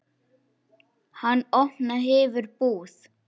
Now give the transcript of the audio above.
Hann opna hefur búð.